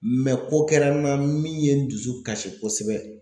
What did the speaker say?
ko kɛra n na min ye n dusu kasi kosɛbɛ